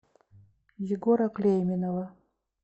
егора клейменова